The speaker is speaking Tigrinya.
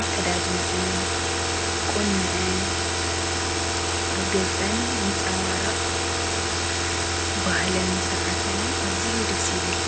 ኣከዳድንእን ቁነአን ኣብ ገፀን ዘንፀርቕ ባህልን ሥርዓትን ኣዚዩ ደስ ይብል፡፡